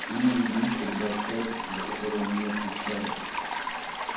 иные лица либо обстоятельства за которое он не отвечает